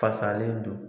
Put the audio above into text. Fasalen don